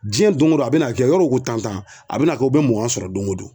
Jɛn don o don a bina kɛ yɔrɔ u ko tan tan a bina kɛ u bɛ mugan sɔrɔ don o don.